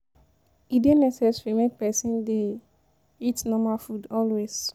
E dey necessary make pesin dey eat natural food always.